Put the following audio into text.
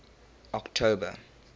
october